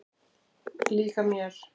Líka mér.